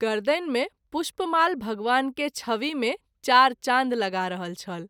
गरदनि मे पुष्पमाल भगवान के छवि मे चार चान्द लगा रहल छल।